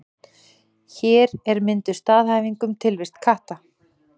Hér er mynduð staðhæfing um tilvist katta.